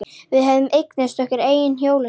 Við höfðum eignast okkar eigin hjólastól.